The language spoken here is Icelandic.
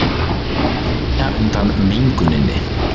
Flýja undan menguninni